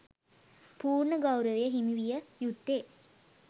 පූර්ණ ගෞරවය හිමි විය යුත්තේ